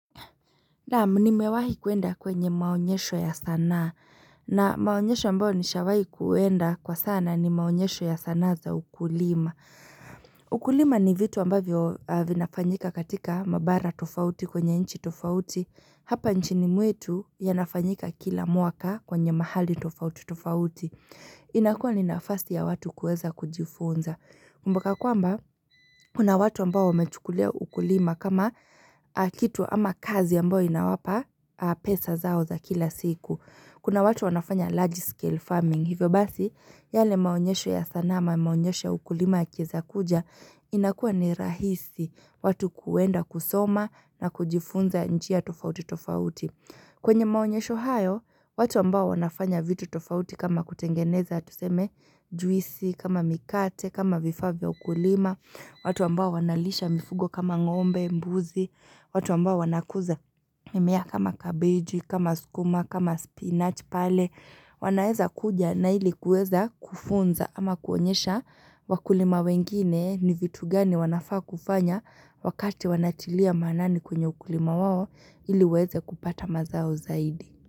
Naam nimewahi kuenda kwenye maonyesho ya sanaa na maonyesho ambayo nishawahi kuenda kwa sana ni maonyesho ya sanaa za ukulima. Ukulima ni vitu ambavyo vinafanyika katika mabara tofauti kwenye nchi tofauti. Hapa nchini mwetu yanafanyika kila mwaka kwenye mahali tofauti tofauti. Inakua ninafasi ya watu kuweza kujifunza. Mpaka kwamba, kuna watu ambao wamechukulia ukulima kama kitu ama kazi ambayo inawapa pesa zao za kila siku. Kuna watu wanafanya large scale farming. Hivyo basi, yale maonyesho ya sanaa ama maonyesho ya ukulima yakiweza kuja, inakuwa ni rahisi watu kuenda kusoma na kujifunza njia tofauti tofauti. Kwenye maonyesho hayo, watu ambao wanafanya vitu tofauti kama kutengeneza tuseme juisi, kama mikate, kama vifaa vya ukulima, watu ambao wanalisha mifugo kama ngombe, mbuzi, watu ambao wanakuza mimea kama kabeji, kama sukuma, kama spinach pale, wanaeza kuja na ili kuweza kufunza ama kuonyesha wakulima wengine ni vitu gani wanafaa kufanya wakati wanatilia maanani kwenye ukulima wao, ili waweze kupata mazao zaidi.